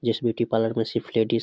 इस beauty parlour को सिर्फ लेडीज --